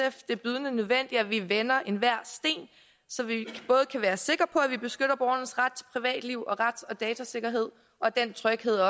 at det er bydende nødvendigt at vi vender enhver sten så vi kan være sikre på at vi beskytter borgernes ret privatliv og rets og datasikkerhed og den tryghed